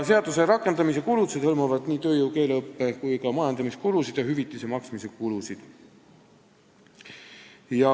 Seaduse rakendamise kulutused hõlmavad tööjõu-, keeleõppe- ja majandamiskulusid, samuti hüvitise maksmise kulusid.